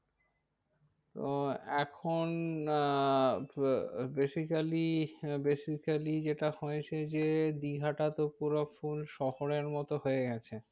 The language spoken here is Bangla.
তো এখন আহ basically basically যেটা হয়েছে যে দীঘাটা তো পুরো full শহরের মতো হয়ে গেছে।